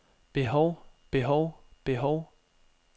behov behov behov